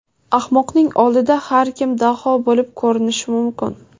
Ahmoqning oldida har kim daho bo‘lib ko‘rinishi mumkin.